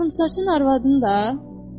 Qıvrımsaçın arvadını da?